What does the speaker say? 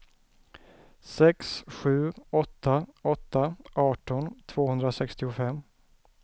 sex sju åtta åtta arton tvåhundrasextiofem